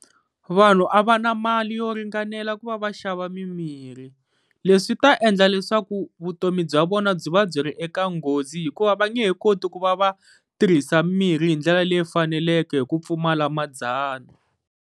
Vanhu a va na mali yo ringanela ku va va xava mimirhi, leswi ta endla leswaku vutomi bya vona byi va byi ri eka nghozi hikuva va nge he koti ku va va tirhisa mirhi hi ndlela leyi faneleke hi ku pfumala madzana.